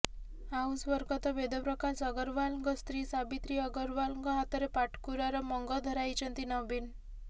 ଆଉ ସ୍ୱର୍ଗତ ବେଦପ୍ରକାଶ ଅଗ୍ରୱାଲଙ୍କ ସ୍ତ୍ରୀ ସାବିତ୍ରୀ ଅଗ୍ରୱାଲଙ୍କ ହାତରେ ପାଟକୁରାର ମଙ୍ଗ ଧରାଇଛନ୍ତି ନବୀନ